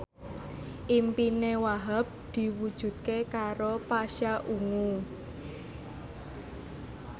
impine Wahhab diwujudke karo Pasha Ungu